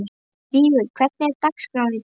Vigur, hvernig er dagskráin í dag?